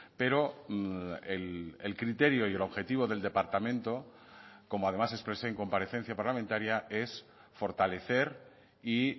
pero el criterio y el objetivo del departamento como además expresé en comparecencia parlamentaria es fortalecer y